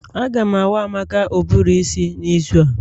A ga awa Amaka ụbụrụ isi n'izu a